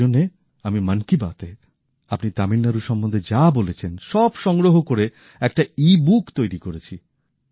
এইজন্য আমি মন কি বাত এ আপনি তামিলনাড়ু সম্বন্ধে যা বলেছেন সব সংগ্রহ করে একটা ই বুক তৈরি করেছি